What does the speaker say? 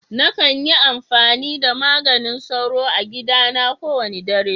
Na kan yi amfani da maganin soro a gida na ko wani dare.